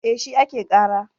E, shi ake ƙara.